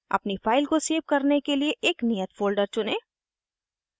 अपनी फाइल को सेव करने के लिए एक नियत फोल्डर चुनें